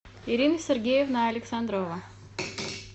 ирина сергеевна александрова